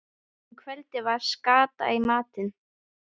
Um kvöldið var skata í matinn.